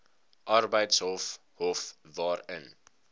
arbeidshof hof waarin